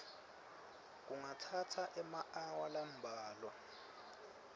kungatsatsa emaawa lambalwa